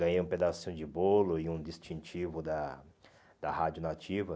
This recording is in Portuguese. Ganhei um pedacinho de bolo e um distintivo da da Rádio Nativa.